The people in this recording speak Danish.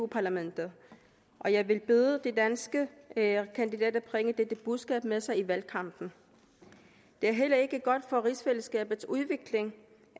parlamentet og jeg vil bede de danske kandidater bringer dette budskab med sig i valgkampen det er heller ikke godt for rigsfællesskabets udvikling